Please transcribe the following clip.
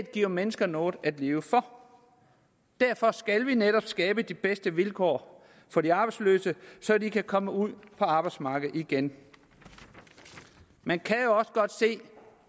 giver mennesker noget at leve for derfor skal vi netop skabe de bedste vilkår for de arbejdsløse så de kan komme ud på arbejdsmarkedet igen man kan jo også godt se